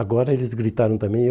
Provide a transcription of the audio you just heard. Agora eles gritaram também.